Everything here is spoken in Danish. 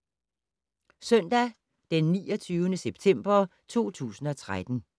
Søndag d. 29. september 2013